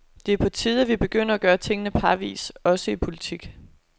Det er på tide, at vi begynder at gøre tingene parvis også i politik.